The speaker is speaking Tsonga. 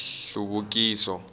hluvukiso